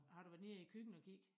Har du været nede i æ køkken og kig?